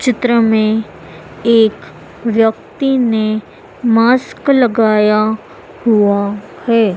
चित्र में एक व्यक्ति ने मास्क लगाया हुआ है।